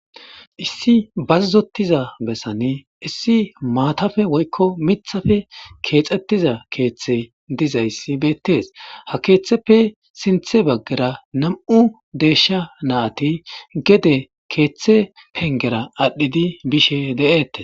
Issi baazotiza woykko wooratiza bessan issi maatappe woykko miiththappe keexettida keeththay dizayssi beettes ha keeththeppe sinththe baggara nam'u deeshsha natti gedde keeththe pengera adhdhidi bishshe de'ettes